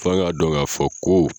F'an k'a dɔn k'a fɔ ko